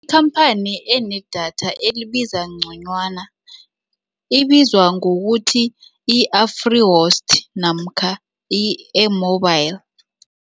Ikhamphani enedatha elibiza ngconywana ibizwa ngokuthi i-Afrihost namkha i-AirMobile.